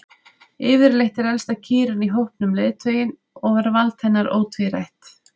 Yfirleitt er elsta kýrin í hópnum leiðtoginn og er vald hennar ótvírætt.